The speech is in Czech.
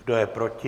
Kdo je proti?